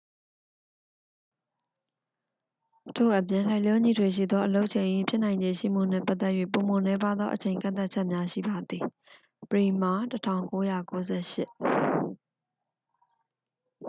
ထို့အပြင်၊ လိုက်လျောညီထွေရှိသောအလုပ်ချိန်၏ ဖြစ်နိုင်ခြေရှိမှုနှင့်ပတ်သက်၍ ပိုမိုနည်းပါးသော အချိန်ကန့်သတ်ချက်များရှိပါသည်။ bremer၊ ၁၉၉၈